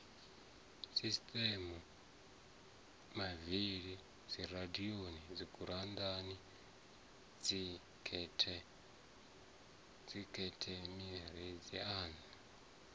sitediamu mavili dziradio dzigurannda dzikhethenireiza